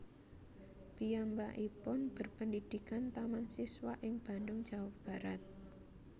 Piyambakipun berpendidikan Taman Siswa ing Bandung Jawa Barat